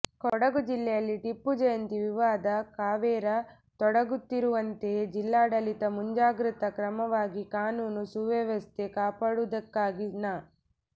ಕೊಡಗು ಜಿಲ್ಲೆಯಲ್ಲಿ ಟಿಪ್ಪು ಜಯಂತಿ ವಿವಾದ ಕಾವೇರ ತೊಡಗುತ್ತಿರುವಂತೆಯೇ ಜಿಲ್ಲಾಡಳಿತ ಮುಂಜಾಗ್ರತಾ ಕ್ರಮವಾಗಿ ಕಾನೂನು ಸುವ್ಯವಸ್ಥೆ ಕಾಪಾಡುವುದಕ್ಕಾಗಿ ನ